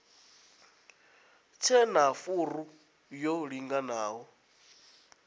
tshe na furu yo linganaho